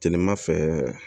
Tilema fɛ